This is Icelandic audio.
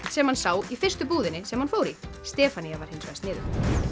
sem hann sá í fyrstu búðinni sem hann fór í Stefanía var hins vegar sniðug